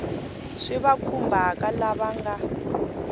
swi va khumbhaka lava nga